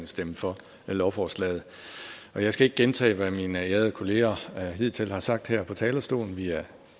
stemme for lovforslaget og jeg skal ikke gentage hvad mine ærede kolleger hidtil har sagt her på talerstolen vi er